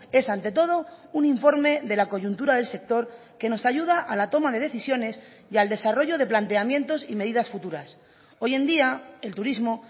es ante todo un informe de la coyuntura del sector que nos ayuda a la toma de decisiones y al desarrollo de planteamientos y medidas futuras hoy en día el turismo